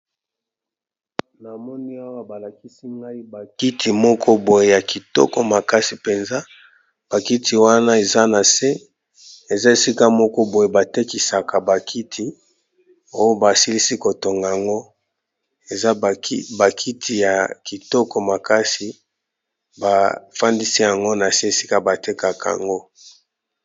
Na moni awa balakisi ngai bakiti moko boye ya kitoko makasi mpenza bakiti wana eza na se eza esika moko boye batekisaka bakiti oyo basilisi kotonga yango eza bakiti ya kitoko makasi bafandisi yango na se esika batekaka yango.